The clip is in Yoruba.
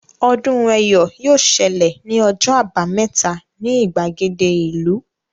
Ọdún Ẹ́yọ̀ yóò ṣẹlẹ̀ ní ọjọ́ àbámẹ́ta ni ìgbàgede ìlú